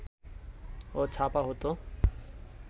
ও ছাপা হতো